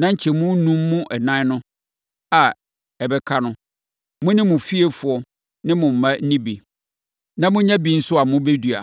Na nkyɛmu enum mu ɛnan a ɛbɛka no, mo ne mo fiefoɔ ne mo mma nni bi, na monnya bi nso a mobɛdua.”